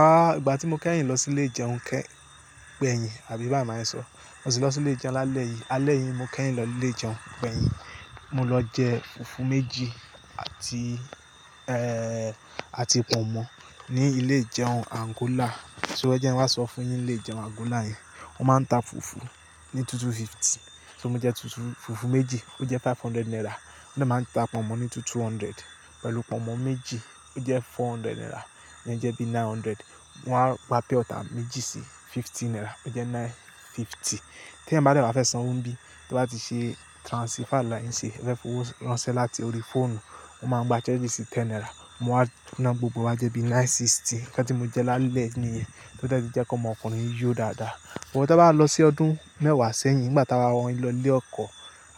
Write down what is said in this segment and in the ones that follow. Ah, ìgbà tí mo kẹ́yìn lọ sí ilé-ìjẹun kẹ́, gbẹ̀yìn àbí bá wo ma ṣe sọ, mo sì lọ sí ilé-ìjẹun lálẹ́ yìí, alẹ́ yìí mo kẹ́yìn lọ ilé-ìjẹun gbẹ̀yìn, mo lọ jẹ fùfú méjì àti, àti pọ̀nmọ́ ní ilé-ìjẹun Àǹgólà. So ẹ jẹ́ máa sọ fún yin ilé-ìjẹun Àǹgólà yẹn, wọ́n máa ń ta fùfú ní 2250. So mo jẹ fùfú méjì, ó jẹ́ 500 naira, wọ́n máa ń ta pọ̀nmọ́ ní 2200, pẹ̀lú pọ̀nmọ́ méjì ó jẹ́ 400 naira, ó jẹ́ bí 900. Wọn á gba pure water méjì sí 50 naira, ó jẹ́ 950. Tí ẹ̀yin bá dẹ́rẹ̀ ba fẹ́ san owó ńbí, tí wọ́n bá ti ṣe transfer láàárín ṣe, ẹ fẹ́ fún wọn ránṣẹ́ láti orí fóònù, wọ́n máa gba charge sí 10 naira. Mo á túná gbogbo wa jẹ́ bí 960. Ká tí mo jẹ lálẹ́ ní, kí ó tó jẹ́ kí ọmọkùnrin yó dáadáa. But ta bá lọ sí ọdún mẹ́wàá sẹ́yìn, nìgbà tí a wa wọ́n lọ ilé ọkọ̀,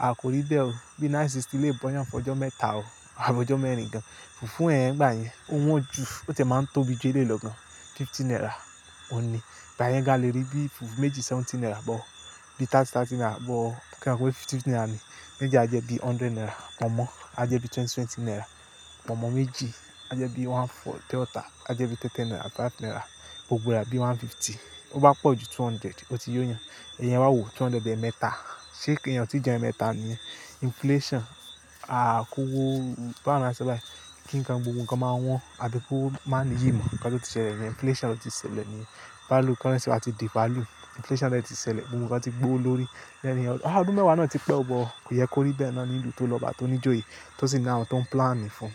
a kò rí bẹ́ẹ̀ o. Bí 960 le bọ́yàn fọjọ́ mẹ́ta o, àbọ́jọ́ mẹ́rin gan. Fùfú ẹ́hẹn igbà yẹn, ó wọ́n ju, ó ti máa ń tóbi ju eléyi lọ gan. 50 naira òní, ìgbà yẹn gan a lè rí bí fùfú méjì 70 naira bọ̀, bí 30, 30 naira bọ̀, kí n kọ̀wé 50 naira ni. Méjì a jẹ́ bí 100 naira, pọ̀nmọ́ a jẹ́ bí 20, 20 naira. Pọ̀nmọ́ méjì a jẹ́ bí 140, purewater a jẹ́ bí 10 10 naira, 5 naira. Gbogbo wa bí 150. Ó bá pọ̀ ju 200, ó ti yó yàn. Ẹ̀yin á wo 200 ẹ̀ẹ̀mẹta, ṣe kí èyàn tí jẹ ẹ̀ẹ̀mẹta níyẹn? Inflation, a kówó, bá ma sọ báyìí, kí ń kan gbogbo nǹkan máa wọ́n, àbí kó máa ní yì mọ́ kí wọ́n tó ti ṣẹlẹ̀ níyẹn? Inflation ló ti ṣẹlẹ̀ níyẹn. Value, currency wa ti devalue. Inflation de ti ṣẹlẹ̀, gbogbo nǹkan ti gbówo lórí. Bẹ́ẹ̀ni ọ, ah ọdún mẹ́wàá náà ti pẹ́, bọ̀ kò yẹ kó rí bẹ́ẹ̀ náa ní ilu tó lọ bá tó ní ijoye tó sì náà awon tun plan ni fún.